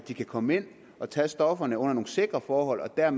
de kan komme ind og tage stofferne under nogle sikre forhold og det er